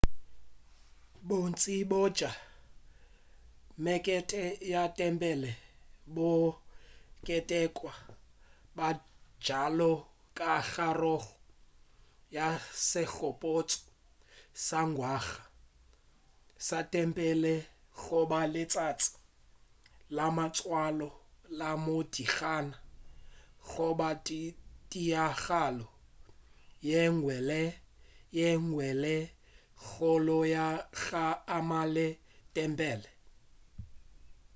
bontši bja mekete ya tempele bo ketekwa bjalo ka karolo ya segopotšo sa ngwaga sa tempele goba letšatši la matswalo la modingwana goba tiragalo yenngwe le yenngwe ye kgolo ya go amana le tempele